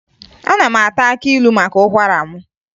Ana m ata akị ilu maka ụkwara m